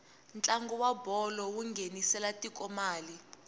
ntlangu wa bolo wu nghenisela tiko mali